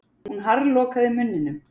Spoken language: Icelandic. Hún harðlokaði munninum.